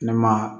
Ne ma